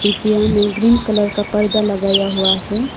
किया में green colour का पर्दा लगाया हुआ है।